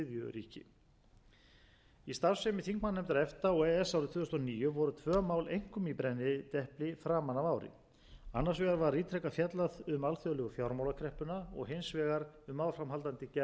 ríki í starfsemi þingmannanefnda efta og e e s árið tvö þúsund og níu voru tvö mál einkum í brennidepli framan af ári annars vegar var ítrekað fjallað um alþjóðlegu fjármálakreppuna og hins vegar um áframhaldandi gerð fríverslunarsamninga efta